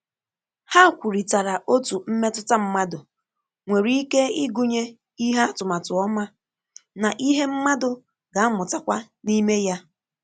Ha kwurịtara otú mmetụta mmadụ nwere ike ịgụnye ìhè atụmatụ ọma ná ìhè mmadụ ga-amụtakwa n’ime ya